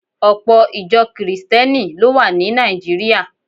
Ọpọ̀ Ìjọ Kìrìsìtíẹ́nì ló wà ní Nàìjíríà